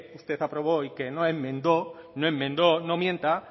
usted aprobó y que no enmendó no enmendó no mienta